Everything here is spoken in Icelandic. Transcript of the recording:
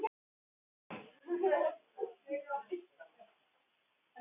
Kalla, hvað er á innkaupalistanum mínum?